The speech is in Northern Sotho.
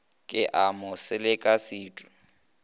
ke a mo seleka setu